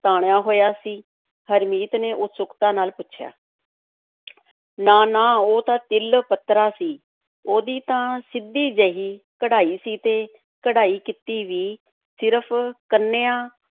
ਤਾਣਿਆ ਹੋਇਆ ਸੀ, ਹਰਮੀਤ ਨੇ ਉਤਸੁਕਤਾ ਨਾਲ ਪੁੱਛਿਆ ਨਾ-ਨਾ, ਉਹ ਤਾਂ ਤਿਲ-ਪੱਤਰਾ ਸੀ, ਉਹਦੀ ਤਾਂ ਸਿੱਧੀ ਜਿਹੀ ਕਢਾਈ ਸੀ ਤੇ ਕਢਾਈ ਕੀਤੀ ਵੀ ਸਿਰਫ਼ ਕੰਨੀਆਂ